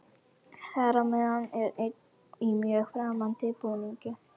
Þar á meðal er einn í mjög framandi búningi.